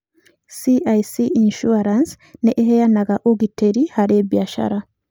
CIC Insurance nĩ ĩheanaga ũgitĩri harĩ biacara.